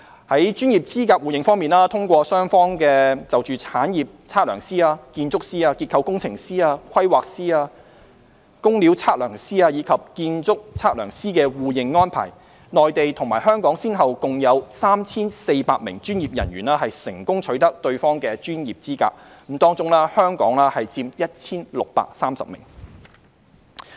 在專業資格互認方面，通過雙方就產業測量師、建築師、結構工程師、規劃師、工料測量師，以及建築測量師的互認安排，內地與香港先後共有近 3,400 名專業人員成功取得對方的專業資格，當中香港人佔 1,630 名。